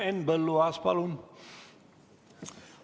Henn Põlluaas, palun!